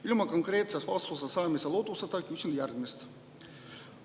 Ilma konkreetse vastuse saamise lootuseta küsin järgmist.